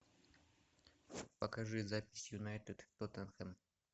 покажи запись юнайтед тоттенхэм